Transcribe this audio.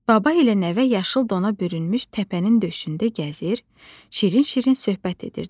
Baba ilə nəvə yaşıl dona bürünmüş təpənin döşündə gəzir, şirin-şirin söhbət edirdilər.